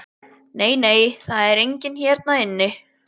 Nei, nei, það er enginn hérna inni.